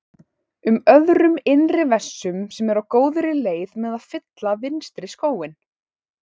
um öðrum innri vessum sem eru á góðri leið með að fylla vinstri skóinn.